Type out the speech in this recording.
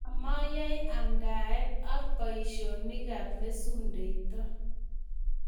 Amoyai yamdaet ak boisionikab mesundeito.